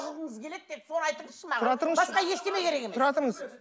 алғыңыз келеді тек соны айтыңызшы маған тұра тұрыңызшы басқа ештеңе керек емес тұра тұрыңыз